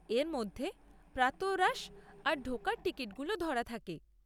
এর মধ্যে প্রাতঃরাশ আর ঢোকার টিকিটগুলো ধরা থাকে।